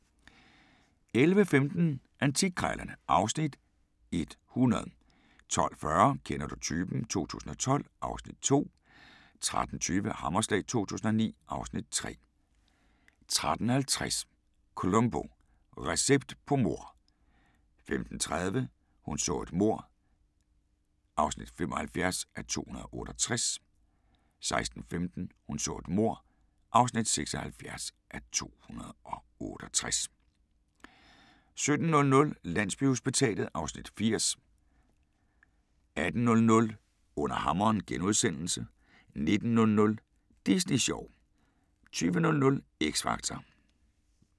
11:15: Antikkrejlerne (Afs. 100) 12:40: Kender du typen? 2012 (Afs. 2) 13:20: Hammerslag 2009 (Afs. 3) 13:50: Columbo: Recept på mord 15:30: Hun så et mord (75:268) 16:15: Hun så et mord (76:268) 17:00: Landsbyhospitalet (Afs. 80) 18:00: Under hammeren * 19:00: Disney sjov 20:00: X Factor